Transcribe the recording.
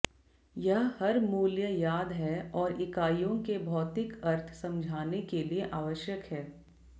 यह हर मूल्य याद है और इकाइयों के भौतिक अर्थ समझाने के लिए आवश्यक है